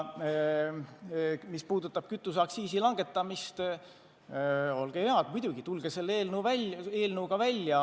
Mis puudutab kütuseaktsiisi langetamist, siis olge head, muidugi, tulge selle eelnõuga välja!